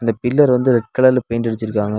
இந்தப் பில்லர் வந்து ரெட் கலர்ல பெயிண்ட் அடிச்சிருக்காங்க.